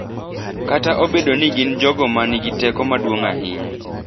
kata obedo ni gin jogo ma nigi teko maduong’ ahinya.